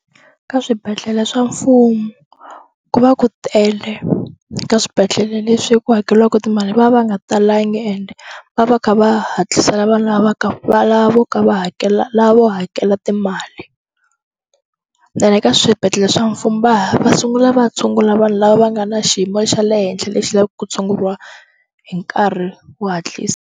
Ka swibedhlele swa mfumu ku va ku tele ka swibedhlele leswi ku hakeliwaku timali va va nga talangi and va va kha va hatlisela vanhu lava ka va lavo ka va lavo hakela timali ene ka swibedhlele swa mfumu va ha va sungula va tshungula vanhu lava va nga na xiyimo xa le henhla lexi lavaka ku tshunguriwa hi nkarhi wo hatlisa.